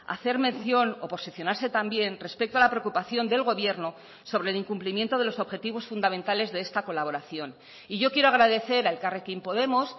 hacer mención o posicionarse también respecto a la preocupación del gobierno sobre el incumplimiento de los objetivos fundamentales de esta colaboración y yo quiero agradecer a elkarrekin podemos